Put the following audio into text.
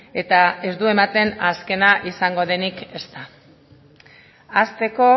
eta ez du ematen azkena izango denik ezta hasteko